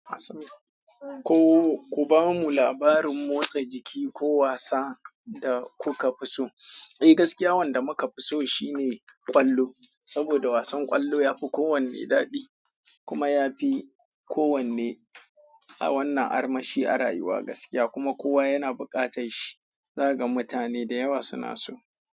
Ko ku bamu labarin motsa jiki ko wasa da kuka fi so? Eh gaskiya wanda muka fi so shine ƙwallo. Saboda wasan ƙwallo ya fi kowanne daɗi kuma ya fi kowanne a wannan armashi a rayuwa gaskiya kuma kowa yana buƙatar shi. Zaga mutane da yawa suna so.